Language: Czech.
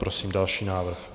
Prosím další návrh.